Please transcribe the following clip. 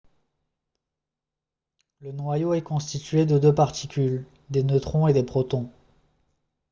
le noyau est constitué de deux particules des neutrons et des protons